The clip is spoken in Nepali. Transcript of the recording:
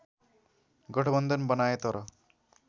गठबन्धन बनाए तर